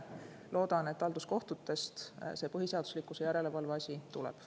Loodan, et halduskohtutest see põhiseaduslikkuse järelevalve asi tuleb.